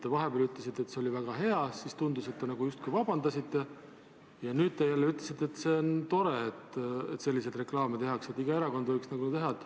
Te vahepeal ütlesite, et see oli väga hea, siis tundus, et te justkui vabandasite, ja nüüd te jälle ütlesite, et on tore, et selliseid reklaame tehakse, et iga erakond võiks teha.